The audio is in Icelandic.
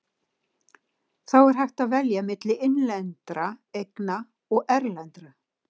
Þá er hægt að velja milli innlendra eigna og erlendra.